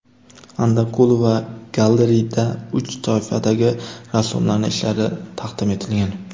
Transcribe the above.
Andakulova Gallery’da uch toifadagi rassomlarning ishlari taqdim etilgan.